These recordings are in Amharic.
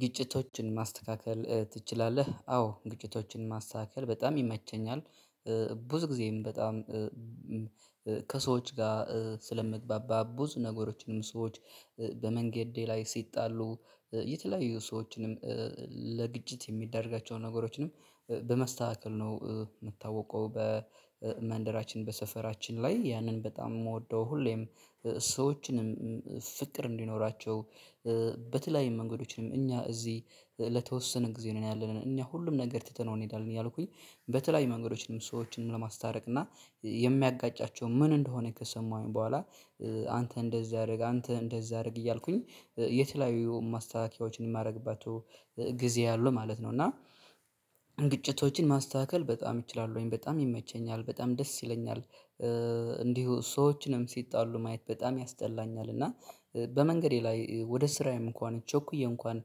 ግጭቶችን ማስተካከል ትችላለህ አዎ ግጭቶችን ማስተካከል በጣም ይመቸኛል። ብዙ ጊዜም በጣም ከሰዎች ጋ ስለምግባባ ብዙ ነገሮችንም ሰዎች በመንገዴ ላይ ሲጣሉ የተለያዩ ሰዎችንም ለግጭት የሚደረጋቸውን ነገሮችንም በማስተካከል ነው። ምታወቀው በመንደራችን በሰፈራችን ላይ ያንን በጣም ምወደው ሁሌም ሰዎችንም ፍቅር እንዲኖራቸው በተለይም መንገዶችንም እኛ እዚህ ለተወሰነ ጊዜ ነው ያለነን እኛ ሁሉም ነገር ትተነው እንሄዳለን። እያልኩኝ በተለያዩ መንገዶችም ሰዎችንም ለማስታረቅ እና የሚያጋጫቸው ምን እንደሆነ ከሰማሁኝ በኋላ አንተ እንደዚህ አድርግ አንተ እንደዚህ አድርግ እያልኩኝ የት ላይ ማስታከያዎችን ማድረግባት ጊዜ አለው ማለት ነው። እና ግጭቶችን ማስተካከል በጣም ይችላሉ ወይም በጣም ይመቸኛል በጣም ደስ ይለኛል። እንዲሁ ሰዎችንም ሲጣሉ ማየት በጣም ያስጠላኛል። እና በመንገዴ ላይ ወደ ስራዬም እንኳን ቸኩዬ እንኳን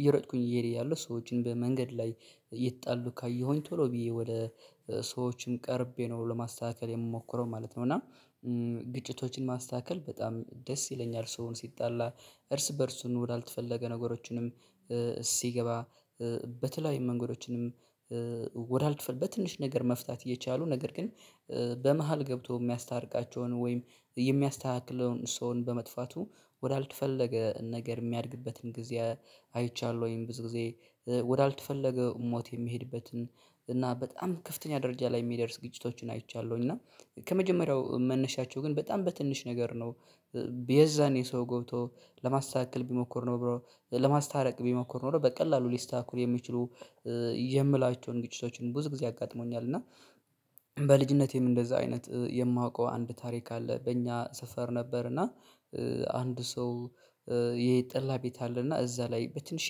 እየሮጥኩኝ እየሄደ ያለው ሰዎችን በመንገድ ላይ እየተጣሉ ካየሁኝ ቶሎ ብዬ ወደ ሰዎችም ቀርቤ ነው ለማስተካከል የምሞክረው ማለት ነው። እና ግጭቶችን ማስተካከል በጣም ደስ ይለኛል። ሰውን ሲጣላ እርስ በእርሱን ወዳልተፈለገ ነገሮችንም ሲገባ በተለይም መንገዶችንም ወደ አልትፈልግ በትንሽ ነገር መፍታት እየቻሉ ነገር ግን በመሃል ገብቶ እሚያስታርቃቸውን ወይም የሚያስተካክለውን ሰውን በመጥፋቱ ወዳልትፈለገ ነገር የሚያድግበትን ጊዜ አይቻለሁ። ወይም ብዙ ጊዜ ወዳልተፈለገው ሞት የሚሄድበትን እና በጣም ክፍተኛ ደረጃ ላይ የሚደርስ ግጭቶችን አይቻለሁኝ። እና ከመጀመሪያው መነሻቸው ግን በጣም በትንሽ ነገር ነው። የዛን የሰው ገብቶ ለማስተካከል ቢሞክር ነው ብሎ ለማስታረቅ ቢሞክር ነው በቀላሉ ሊስተካከሉ የሚችሉ ይምላቸውን ግጭቶችን ብዙ ጊዜ አጋጥሞኛል። እና በልጅነቴም እንደዛ አይነት የማውቀው አንድ ታሪክ አለ። በእኛ ሰፈር ነበርና አንድ ሰው የጠላ ቤት አለና እዛ ላይ በትንሼ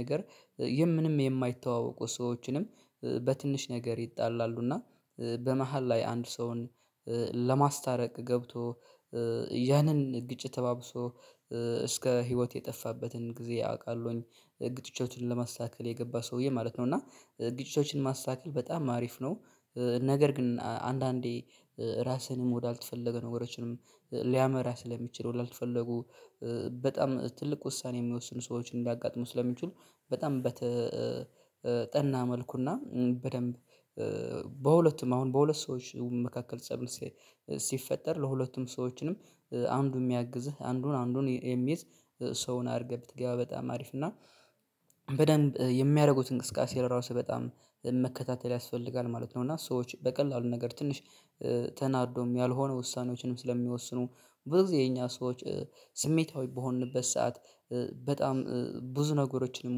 ነገር የምንም የማይተዋወቁ ሰዎችንም በትንሽ ነገር ይጣላሉ። እና በመሃል ላይ አንድ ሰውን ለማስታረቅ ገብቶ ያንን ግጭት ተባብሶ እስከ ህይወት የጠፋበትን ጊዜ አውቃለሁኝ። ግጭቶችን ለማስተካከል የገባ ሰውዬ ማለት ነው እና ግጭቶችን ማስተካከል በጣም አሪፍ ነው። ነገር ግን አንዳንዴ ራስህንም ወዳልተፈለገ ነገሮችንም ሊያመራ ስለሚችል ወዳልተፈለጉ በጣም ትልቅ ውሳኔ የሚወስኑ ሰዎችን እንዳጋጥመው ስለሚችሉ በጣም በተጠና መልኩና በደንብ በሁለቱም አሁን በሁለት ሰዎች መካከል ፀብ ሲፈጠር ለሁለቱም ሰዎችንም አንዱን ሚያግዝህ አንዱን አንዱን የሚይዝ ሰውን አድርገህ ብትገባ በጣም አሪፍ እና በደንብ የሚያደርጉትን እንቅስቃሴ ራሱ በጣም መከታተል ያስፈልጋል ማለት ነው። እና ሰዎች በቀላሉ ነገር ትንሽ ተናዶም ያልሆነ ውሳኔዎችንም ስለሚወስኑ ብዙ ጊዜ የኛ ሰዎች ስሜታዊ በሆንበት ሰዓት በጣም ብዙ ነገሮችን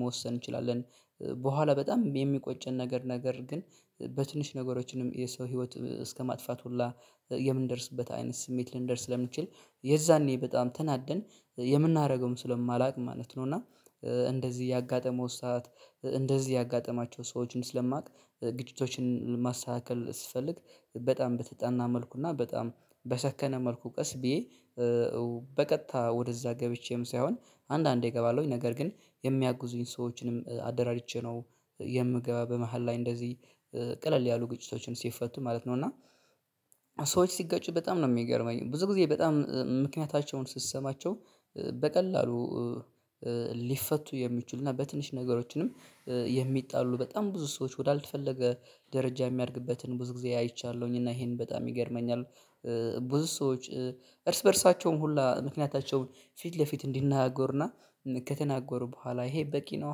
መወሰን እንችላለን። በኋላ በጣም የሚቆጨን ነገር ነገር ግን በትንሽ ነገሮችንም የሰው ህይወት እስከማጥፋት ሁላ የምንደርስበት አይነት ስሜት ልንደርስ ስለምንችል የዛኔ በጣም ተናደን የምናደርገውም ስለማላውቅ ማለት ነው። እና እንደዚህ ያጋጠመው ሰዓት እንደዚህ ያጋጠማቸው ሰዎችን ስለማውቅ ግጭቶችን ማስተካከል ስፈልግ በጣም በተጠና መልኩ እና በጣም በሰከነ መልኩ ቀስ ብዬ በቀጥታ ወደዛ ገብቼም ሳይሆን አንዳንዴ እገባለሁኝ ነገር ግን የሚያጉዙኝ ሰዎችንም አደራጅቼ ነው። የምገባ በመሃል ላይ እንደዚህ ቀለል ያሉ ግጭቶችን ሲፈቱ ማለት ነው። እና ሲጋጭ በጣም ነው ሚገርመኝ ብዙ ጊዜ በጣም ምክንያታቸውን ስሰማቸው በቀላሉ ሊፈቱ የሚችሉና በትንሽ ነገሮችንም የሚጣሉ በጣም ብዙ ሰዎች ወዳልተፈለገ ደረጃ የሚያድግበትን ብዙ ጊዜ አይቻለሁኝ እና ይሄን በጣም ይገርመኛል። ብዙ ሰዎች እርስ በእርሳቸውም ሁሉ ምክንያታቸውን ፊት ለፊት እንዲነጋገሩ ከተናገሩ በኋላ ይሄ በቂ ነው።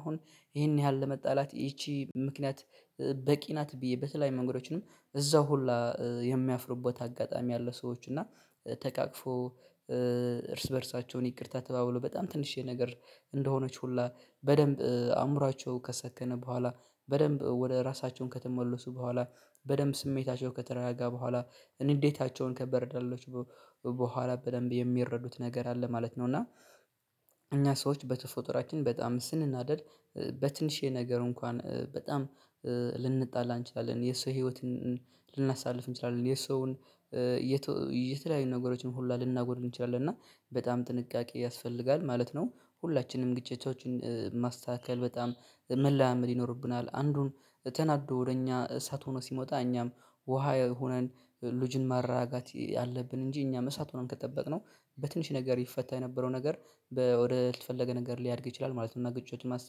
አሁን ይሄን ያህል ለመጣላት ይቺ ምክንያት በቂ ናት ብዬ በተላይ መንገዶችንም እዛው ሁላ የሚያፍሩበት አጋጣሚ አለ። ሰዎች እና ተቃቅፎ እርስ በእርሳቸውን ይቅርታ ተባብሎ በጣም ትንሽዬ ነገር እንደሆነች ሁላ በደንብ አእምሮአቸው ከሰከነ በኋላ በደንብ ወደ ራሳቸውን ከተመለሱ በኋላ በደንብ ስሜታቸው ከተረጋጋ በኋላ ንዴታቸውን ከበረዳለች በኋላ በደንብ የሚረዱት ነገር አለ ማለት ነው። እና እኛ ሰዎች በተፎጥራችን በጣም ስንናደድ በትንሽየ ነገር እንኳን በጣም ልንጣላ እንችላለን። የሰው ህይወትን ልናሳልፍ እንችላለን የሰውን የተለያዩ ነገሮችን ሁሉ ልናጎድል እንችላለን። እና በጣም ጥንቃቄ ያስፈልጋል ማለት ነው ሁላችንም ግጭቶችን ማስተካከል በጣም መለማመድ ይኖርብናል። አንዱን ተናዶ ወደ እኛ እሳት ሆኖ ሲመጣ እኛም ውሃ ሆነን ልጅን ማረጋጋት አለብን። እንጂ እኛ እሳት ሆኖን ከጠበቅነው በትንሽ ነገር ይፈታ የነበረው ነገር በ ወደ ወዳልተፈለገ ነገር ሊያድግ ይችላል ማለት ነው። እና ግጭቱ ማስ